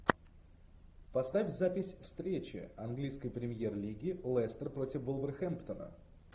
поставь запись встречи английской премьер лиги лестер против вулверхэмптона